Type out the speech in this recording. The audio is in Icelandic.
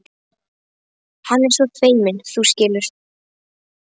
Hann er svo feiminn, þú skilur.